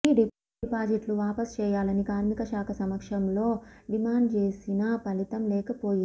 ఈ డిపాజిట్లు వాపసు చేయాలని కార్మికశాఖ సమక్షంలో డిమాండ్చేసినా ఫలితం లేకపోయింది